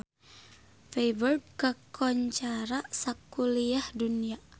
Feiburg kakoncara sakuliah dunya